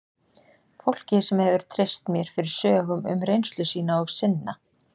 Fólki sem hefur treyst mér fyrir sögum um reynslu sína og sinna.